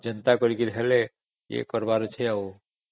ଯାହା ହେଲେ ବି କଣ କରିବାର ଅଛି